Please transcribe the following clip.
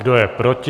Kdo je proti?